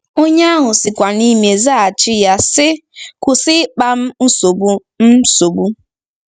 Onye ahụ sikwa n’ime zaghachi ya, sị, ‘Kwụsị ịkpa m nsogbu m nsogbu.